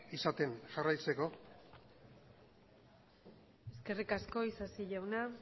izaten jarraitzeko eskerrik asko isasi jauna